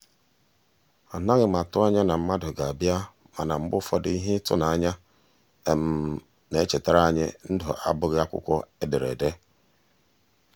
anaghị m atụ anya na mmadụ ga-abịa mana mgbe ụfọdụ ihe ịtụnanya na-echetara anyị ndụ abụghị akwụkwọ edere ede.